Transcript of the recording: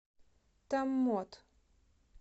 томмот